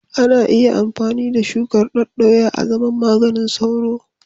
Ana iya amfani da shukar daddoya azaman maganin sauro.